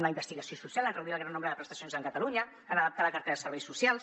una investigació social en reduir el gran nombre de prestacions a catalunya en adaptar la cartera de serveis socials